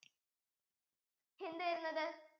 എന്തുവരുന്നത്